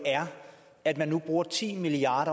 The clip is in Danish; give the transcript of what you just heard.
at der nu bruges ti milliard